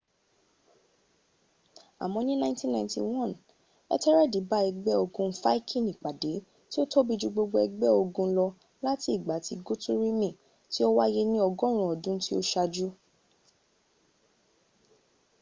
àmọ́ ní 991 ẹ́tẹ́rẹ́ẹ̀dì bá ẹgbẹ́ ogun fáikini pàdé tí ó tóbi jù gbogbo ẹgbẹ́ ogun lọ láti ìgbà tí gútírùmi tí ó wáyé ní ọgọ́run ọdún tí ó ṣájú